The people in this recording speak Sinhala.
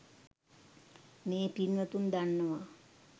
මේ පින්වතුන් දන්නවා